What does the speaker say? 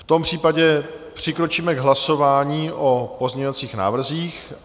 V tom případě přikročíme k hlasování o pozměňovacích návrzích.